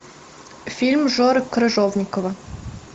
фильм жоры крыжовникова